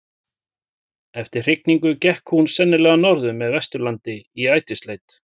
Eftir hrygningu gekk hún sennilega norður með Vesturlandi í ætisleit.